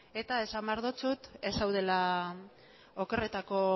eta esan behar dotsut okerretako